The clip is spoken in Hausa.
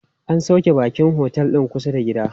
An sauƙe baƙin a otel din kusa da gida.